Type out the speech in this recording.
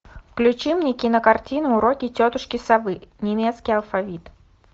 включи мне кинокартину уроки тетушки совы немецкий алфавит